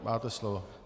Máte slovo.